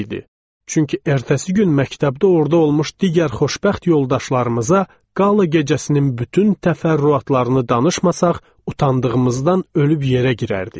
Çünki ertəsi gün məktəbdə orada olmuş digər xoşbəxt yoldaşlarımıza qala gecəsinin bütün təfərrüatlarını danışmasaq, utandığımızdan ölüb yerə girərdik.